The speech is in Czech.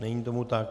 Není tomu tak.